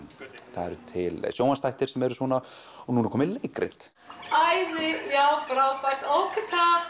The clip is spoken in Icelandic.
það eru til sjónvarpsþættir sem eru svona og nú er komið leikrit æði já ókei takk